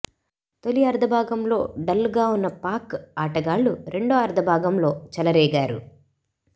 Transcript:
తొలి అర్థభాగంలో డల్గా ఉన్న పాక్ ఆటగాళ్లు రెండో అర్థభాగంలో చెలరేగారు